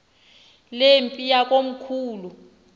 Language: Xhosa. le mpi yakomkhulu